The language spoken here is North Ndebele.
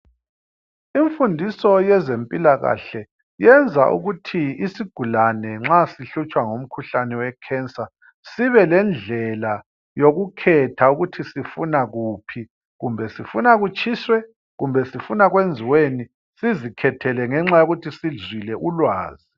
Imfundiso yezempilakahle yenza ukuthi izigulane nxa zihlutshwa ngumkhuhlane sibelendlela yokukhetha ukuthi sifuna kuphi. Kumbe sifuna kutshiswe, kumbe sifuna kwenziweni ngenxa yokuthi sizwile ulwazi.